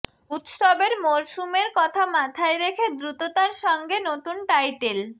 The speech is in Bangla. উৎসবের মরসুমের কথা মাথায় রেখে দ্রুততার সঙ্গে নতুন টাইটেল